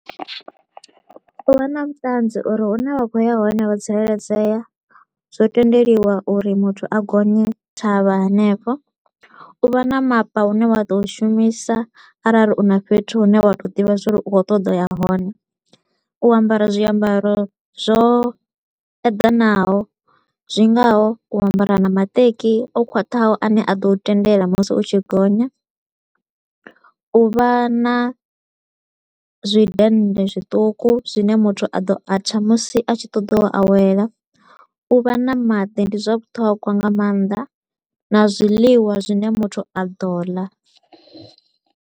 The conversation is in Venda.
U vha na vhuṱanzi uri hune vha kho u ya hone wo tsireledzea, zwo tendeliwa uri muthu a gonye thavha henefho. U vha na mapa u ne wa ḓo u shumisa arali u na fhethu hune wa to u ḓivha zwa uri u kho u ṱoḓa uya hone. U ambara zwiambaro zwo eḓanaho, zwi ngaho u ambara na maṱeki o khwaṱhaho a ne a ḓo u tendela musi u tshi gonya, u vha na zwi dennde zwiṱuku zwi ne muthu a ḓo atha musi a tshi ṱoḓa u awela. U vha na maḓi ndi zwa vhuṱhogwa nga maanḓa na zwiḽiwa zwi ne muthu a ḓo ḽa.